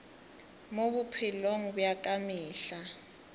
mo bophelong bja ka mehla